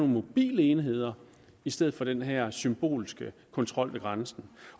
mobile enheder i stedet for den her symbolske kontrol ved grænsen